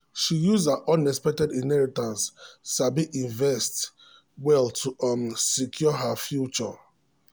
she use her unexpected inheritance sabi invest well to um secure her um future